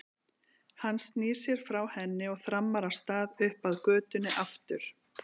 Hann snýr sér frá henni og þrammar af stað upp að götunni aftur.